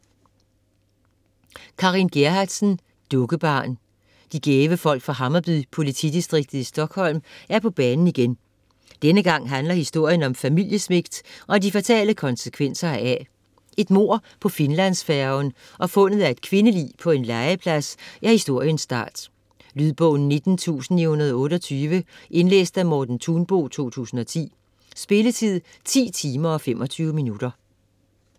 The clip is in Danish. Gerhardsen, Carin: Dukkebarn De gæve folk fra Hammarby-politidistriktet i Stockholm er på banen igen. Denne gang handler historien om familiesvigt og de fatale konsekvenser heraf. Et mord på Finlandsfærgen og fundet af et kvindelig på en legeplads er historiens start. Lydbog 19928 Indlæst af Morten Thunbo, 2010. Spilletid: 10 timer, 25 minutter.